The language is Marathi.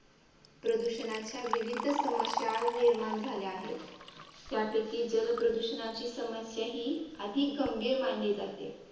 प्रदूषणाच्या विविध समस्या आज निर्माण झाल्या आहेत. त्यापैकी जलप्रदूषणाची समस्या अधिक गंभीर मानली जाते.